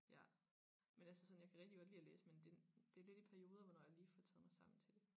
Ja men altså sådan jeg kan rigtig godt lide at læse men det det lidt i perioder hvornår jeg lige får taget mig sammen til det